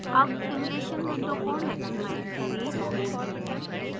अब simulation window को maximize करें